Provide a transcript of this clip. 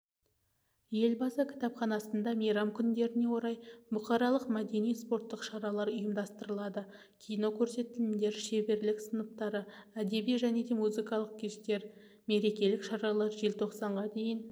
елбасы кітапханасында мейрам күндеріне орай бұқаралық мәдени-спорттық шаралар ұйымдастырылады кинокөрсетілімдер шеберлік сыныптары әдеби және музыкалық кештер мерекелік шаралар желтоқсанға дейін